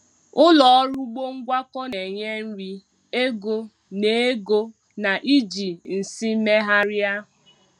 Ụlọ ọrụ ugbo ngwakọ na-enye nri, ego, na ego, na iji nsị meeghari.